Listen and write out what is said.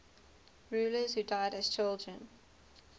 rulers who died as children